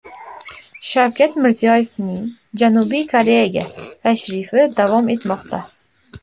Shavkat Mirziyoyevning Janubiy Koreyaga tashrifi davom etmoqda.